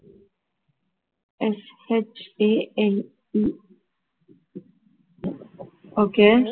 SHANE okay